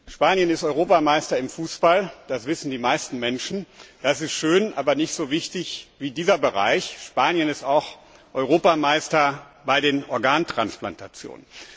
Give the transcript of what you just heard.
Spanien ist Europameister im Fußball, das wissen die meisten Menschen, das ist schön, aber nicht so wichtig wie dieser Bereich Spanien ist auch Europameister bei Organtransplantationen.